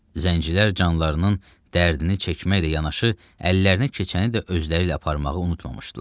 Zəncilər canlarının dərdini çəkməklə yanaşı, əllərinə keçəni də özləri ilə aparmağı unutmamışdılar.